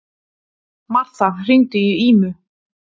Martha, hringdu í Ímu.